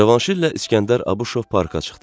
Cavanşirlə İskəndər Abuşov parka çıxdı.